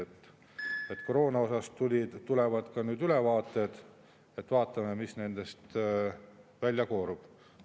Koroona kohta tulevad ka ülevaated, vaatame, mis nendest välja koorub.